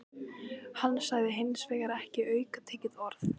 Hann sagði hins vegar ekki aukatekið orð.